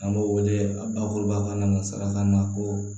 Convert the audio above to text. An b'o wele a bakuruba fana ma salakana ko